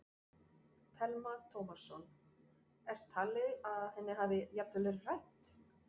Telma Tómasson: Er talið að henni hafi jafnvel verið rænt?